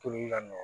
Toli ka nɔgɔn